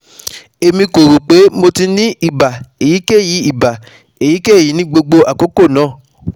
Emi ko ro pe mo ti ni iba eyikeyi iba eyikeyi ni gbogbo akoko naa